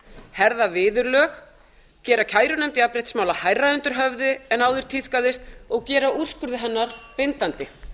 herða viðurlög gera kærunefnd jafnréttismála hærra undir höfði en áður tíðkaðist og gera úrskurði hennar bindandi